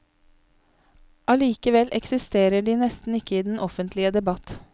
Allikevel eksisterer de nesten ikke i den offentlige debatt.